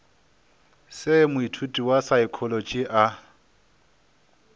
se moithuti wa saekholotši a